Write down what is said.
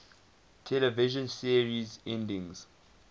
television series endings